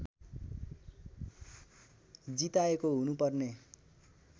जिताएको हुनुपर्ने